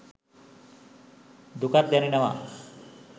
දුකක් දැනෙනවා